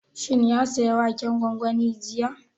Shin ya saya waken gwangwani jiya?